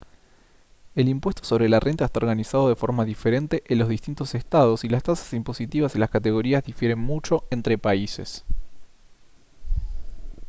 el impuesto sobre la renta está organizado de forma diferente en los distintos estados y las tasas impositivas y las categorías difieren mucho entre países